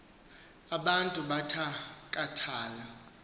abantu abatha kathayo